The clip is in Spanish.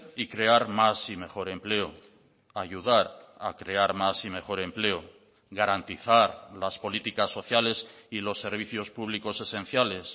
y crear más y mejor empleo ayudar a crear más y mejor empleo garantizar las políticas sociales y los servicios públicos esenciales